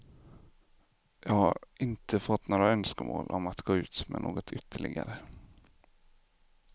Jag har inte fått några önskemål om att gå ut med något ytterligare.